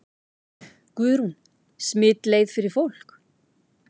Guðrún: Smitleið fyrir fólk?